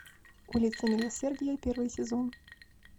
улица милосердия первый сезон